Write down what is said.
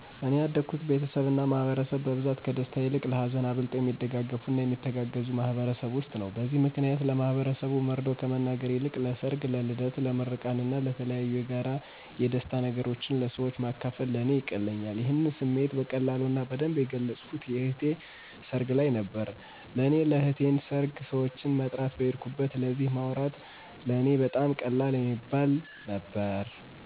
እኔ ያደኩበት ቤተሰብ እና ማህበረሰብ በብዛት ከደስታ ይልቅ ለሀዘን አብልጠው የሚደጋገፉ እና የሚተጋገዙ ማህበረሰብ ውስጥ ነው። በዚህ ምክንያት ለማህበረሰቡ መርዶ ከመናገር ይልቅ ለሰር፣ ለልደት፣ ለምርቃን እና የተለያዬ የጋራ የደስታ ነገሮችን ለሰወች ማካፈል ለእኔ ይቀለኛል። ይሄንም ስሜቴ በቀላሉ እና በደንብ የገለፅኩት የእኔ እህት ሰርግ ልይ ነበረ። ለእኔ ለእህቴን ሰርግ ሰወችን መጥራት በሄድኩበት ስለዚ ማውራት ለእኔ በጣም ቀላል የሚባል ነበረ።